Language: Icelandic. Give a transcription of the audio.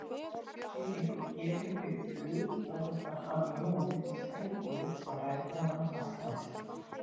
Sé einhver gefinn fyrir flug, þá er það hann Jón í Sæbóli, svaraði konan fastmælt.